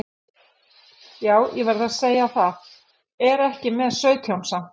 Já ég verð að segja það, er ég ekki með sautján samt?